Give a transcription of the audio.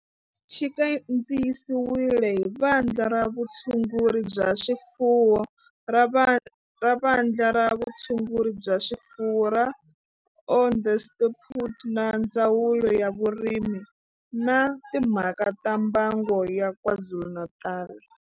Xi kandziyisiwe hi Vandla ra Vutshunguri bya swifuwo ra Vandla ra Vutshunguri bya swifuwo ra Onderstepoort na Ndzawulo ya Vurimi na Timhaka ta Mbango ya KwaZulu-Natal.